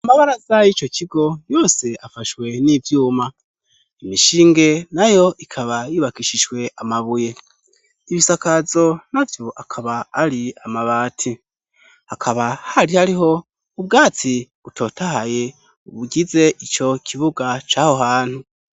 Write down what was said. Amabaraza y'ico kigo, yose afashwe n'ivyuma. Imishinge na yo ikaba yubakishijwe amabuye. Ibisakazo na vyo akaba ari amabati. Hakaba hari hariho, ubwatsi butotahaye, bugize ico kibuga c'aho hantu.